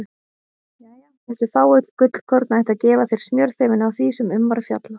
Jæja, þessi fáu gullkorn ættu að gefa þér smjörþefinn af því sem um var fjallað.